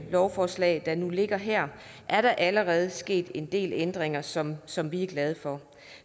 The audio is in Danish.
lovforslag der nu ligger her allerede er sket en del ændringer som som vi er glade for